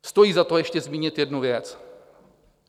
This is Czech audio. Stojí za to ještě zmínit jednu věc.